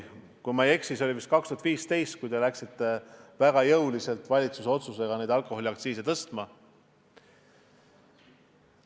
Kui ma ei eksi, siis vist aastal 2015 te otsustasite väga jõuliselt alkoholiaktsiise tõstma hakata.